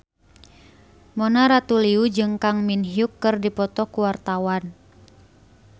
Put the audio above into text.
Mona Ratuliu jeung Kang Min Hyuk keur dipoto ku wartawan